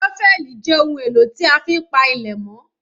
ṣọ́fẹ́lì jẹ́ ohun èlò tí a fi ń pa ilẹ̀ mọ́